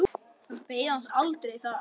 Hann beið hans aldrei þar.